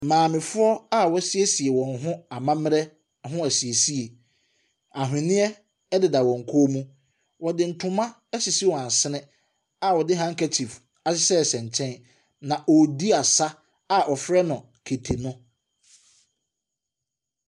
Maamefoɔ a wɔasiesie wɔn ho amammerɛ ahosiesie, aweneɛ ɛdeda wɔn kɔn mu. Wɔde ntoma asisi wɔn asene a wɔde handkerchief ahyehyɛ nkyɛn. Na ɔredi asa a wɔfrɛ no kete no.